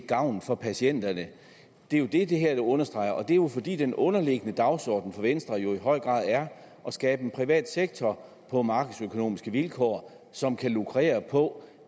gavn for patienterne det er jo det det her understreger det er jo fordi den underliggende dagsorden for venstre i høj grad er at skabe en privat sektor på markedsøkonomiske vilkår som kan lukrere på